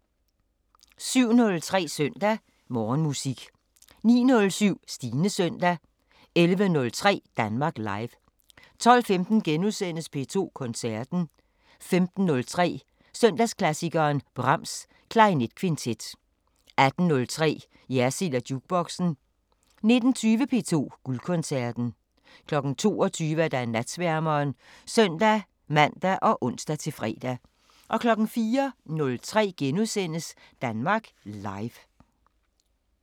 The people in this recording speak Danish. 07:03: Søndag Morgenmusik 09:07: Stines Søndag 11:03: Danmark Live 12:15: P2 Koncerten * 15:03: Søndagsklassikeren – Brahms: Klarinetkvintet 18:03: Jersild & Jukeboxen 19:20: P2 Guldkoncerten 22:00: Natsværmeren (søn-man og ons-fre) 04:03: Danmark Live *